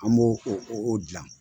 An b'o o o dilan.